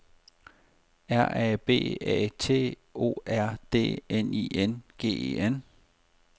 R A B A T O R D N I N G E N